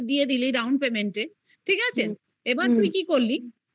দিলি down payment. ঠিক আছে? এবার তুই কি করলি